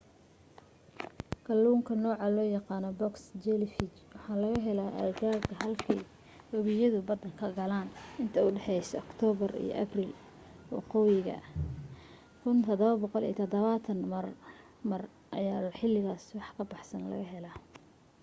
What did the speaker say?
kalluunka nooca loo yaqaana box jellyfish waxaa laga helaa aagaga halkay webiyadu badda ka galaan inta u dhexaysa oktoobar iyo abril waqooyiga 1770 marmar ayaa xilligaas wax ka baxsan la helaa